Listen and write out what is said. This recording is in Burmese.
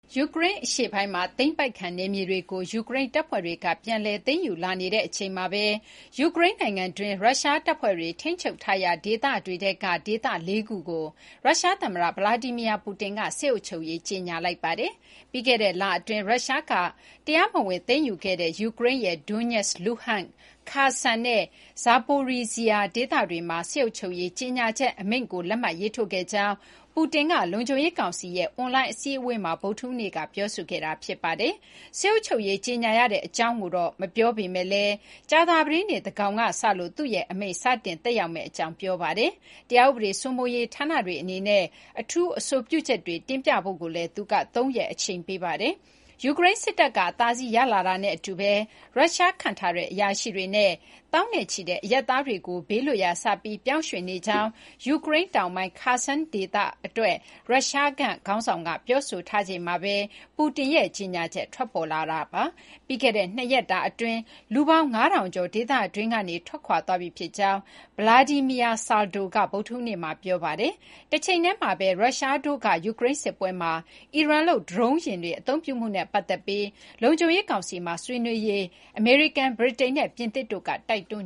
ယူကရိန်း အရှေ့ပိုင်းမှာ သိမ်းပိုက်ခံ နေမြေတွေကို ယူကရိန်း တပ်ဖွဲ့တွေက ပြန်လည် သိမ်းယူလာနေတဲ့ အချိန်မှာဘဲ ယူကရိန်း နိုင်ငံတွင်း ရုရှားတပ်ဖွဲ့တွေ ထိန်းချုပ်ထားရာ ဒေသတွေထဲက ဒေသ ၄ ခုကို ရုရှားသမ္မတ Vladimir Putin က စစ်အုပ်ချုပ်ရေး ကြေညာလိုက်ပါတယ်။ ပြီးခဲ့တဲ့ လအတွင်း ရုရှားက တရားမဝင် သိမ်းယူခဲ့တဲ့ ယူကရိန်းရဲ့ Donetsk, Luhansk, Kherson နဲ့ Zaporizhzhia ဒေသတွေမှာ စစ်အုပ်ချုပ်ရေး ကြေညာချက် အမိန့်ကို လက်မှတ်ရေးထိုးခဲ့ကြောင်း Putin က လုံခြုံရေးကောင်စီရဲ့ အွန်လိုင်း အစည်းအဝေးမှာ ဗုဒ္ဓဟူးနေ့က ပြောဆိုခဲ့တာ ဖြစ်ပါတယ်။ စစ်အုပ်ချုပ်ရေး ကြေညာရတဲ့ အကြောင်းကိုတော့ Putin ဘက်က မပြောပေမဲ့လည်း ကြာသပတေးနေ့ သန်းခေါင်က စလို့ သူ့ရဲ့ အမိန့် စတင်သက်ရောက်မယ့် အကြောင်း ပြောပါတယ်။တရားဥပဒေ စိုးမိုးရေး ဌာနတွေ အနေနဲ့ အထူး အဆိုပြုချက်တွေ တင်ပြဖို့ကိုလည်း သူက သုံးရက် အချိန်ပေးထားပါတယ်။ ယူကရိန် စစ်တပ်က အသာစီး ရလာတာနဲ့ အတူဘဲ ရုရှား ခန့်ထားတဲ့ အရာရှိတွေနဲ့ သောင်းနဲ့ချီတဲ့ အရပ်သားတွေကို ဘေးလွတ်ရာ စပြီး ပြောင်းရွှေ့နေကြောင်း ယူကရိန်း တောင်ပိုင်း Kherson ဒေသ အတွက် ရုရှားခန့်ထားတဲ့ ခေါင်းဆောင်က ပြောဆိုထားချိန်မှာဘဲ Putin ရဲ့ ကြေညာချက် ထွက်ပေါ်လာတာပါ။ ပြီးခဲ့တဲ့ ၂ ရက်တာ အတွင်း လူပေါင်း ၅,၀၀၀ ကျော် ဒေသတွင်းကနေ ထွက်ခွာသွားပြီ ဖြစ်ကြောင်း Vladimir Saldo က ဗုဒ္ဓဟူးနေ့မှာ ပြောပါတယ်။ တချိန်တည်းမှာဘဲ ရုရှားတို့က ယူကရိန်း စစ်ပွဲမှာ အီရန်လုပ် ဒရုန်းယာဉ်တွေ အသုံးပြုမှုနဲ့ ပတ်သက်ပြီး လုံခြုံရေး ကောင်စီမှာ ဆွေးနွေးဖို့ အတွက် အမေရိကန်၊ ဗြိတိန်နဲ့ ပြင်သစ်တို့က တိုက်တွန်